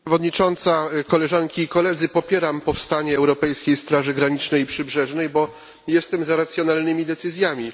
Pani Przewodnicząca! Koleżanki i Koledzy! Popieram powstanie Europejskiej Straży Granicznej i Przybrzeżnej, bo jestem za racjonalnymi decyzjami.